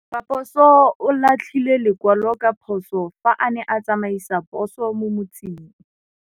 Raposo o latlhie lekwalô ka phosô fa a ne a tsamaisa poso mo motseng.